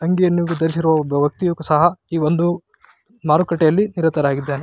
ಅಂಗಿಯನ್ನು ವಿತರಿಸಿರುವ ಒಬ್ಬ ವ್ಯಕ್ತಿಯು ಸಹ ಈ ವೊಂದು ಮಾರುಕಟ್ಟೆಯಲ್ಲಿ ನಿರತನಾಗಿದ್ದಾನೆ.